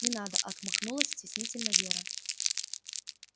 не надо отмахнулась стеснительно вера